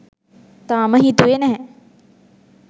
තාම හිතුවේ නැහැ